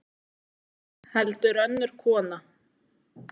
Heldur önnur kona.